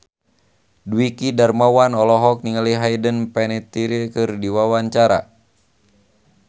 Dwiki Darmawan olohok ningali Hayden Panettiere keur diwawancara